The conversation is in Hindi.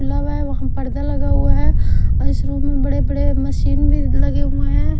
है वहां पर्दा लगा हुआ है और इस रूम में बड़े-बड़े मशीन भी लगे हुए हैं।